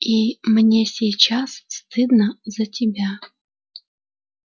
и мне сейчас стыдно за тебя